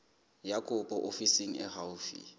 ya kopo ofising e haufi